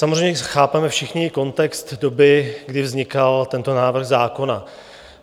Samozřejmě chápeme všichni kontext doby, kdy vznikal tento návrh zákona.